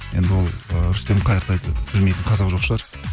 енді ол ы рүстем қайыртайды білмейтін қазақ жоқ шығар